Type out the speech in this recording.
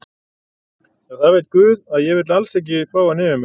Já það veit guð að ég vil alls ekki fá hann yfir mig.